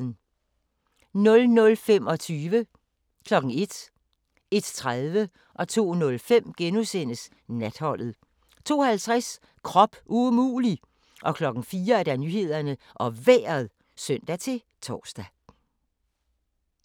00:25: Natholdet * 01:00: Natholdet * 01:30: Natholdet * 02:05: Natholdet * 02:50: Krop umulig! 04:00: Nyhederne og Vejret (søn-tor)